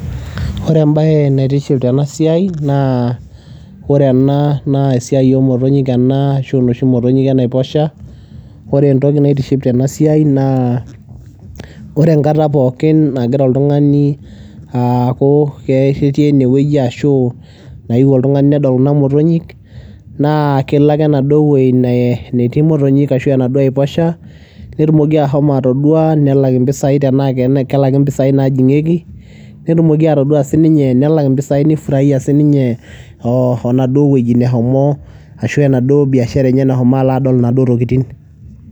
Ore embaye naitiship tena siai naa ore ena naa esiai oo motonyik ena ashu iloshi motonyik e naiposha. Ore entoki naitiship tena siai naa ore enkata pookin nagira oltung'ani aaku ke ketii ene wueji ashu naewuo oltung'ani nedol kuna motonyik naa kelo ake enaduo wuei ne netii imotonyik ashu enaduo aiposha netumoki ashomo atodua, nelak impisai tenaa ake kelaki impisai naajing'ieki, netumoki atodua sininye nelak ipisai nifuraia sininye oo oo naduo wueji nashomo ashu enaduo biashara enye nashomo alo adol iwuejitin.